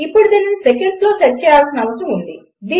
ఇప్పుడు దీనిని సెకండ్స్లో సెట్ చేయాల్సిన అవసరం ఉంది